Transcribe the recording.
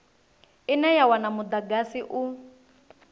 ine ya wana mudagasi u